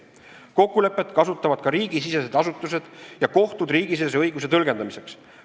Kokkulepet kasutavad ka riigisisesed asutused ja kohtud riigisisese õiguse tõlgendamiseks.